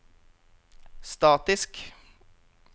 statisk